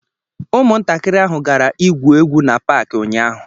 Ụmụntakịrị ahụ gara igwu egwu n'Paakị ụnyaahụ